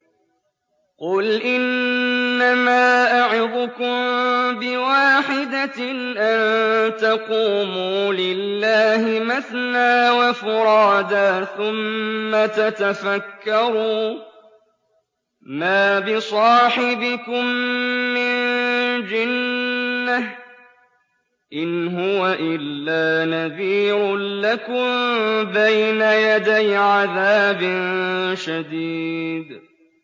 ۞ قُلْ إِنَّمَا أَعِظُكُم بِوَاحِدَةٍ ۖ أَن تَقُومُوا لِلَّهِ مَثْنَىٰ وَفُرَادَىٰ ثُمَّ تَتَفَكَّرُوا ۚ مَا بِصَاحِبِكُم مِّن جِنَّةٍ ۚ إِنْ هُوَ إِلَّا نَذِيرٌ لَّكُم بَيْنَ يَدَيْ عَذَابٍ شَدِيدٍ